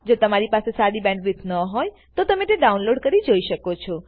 જો તમારી પાસે સારી બેન્ડવિડ્થ ન હોય તો તમે વિડીયો ડાઉનલોડ કરીને જોઈ શકો છો